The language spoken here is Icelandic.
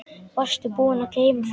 Varstu búinn að gleyma því?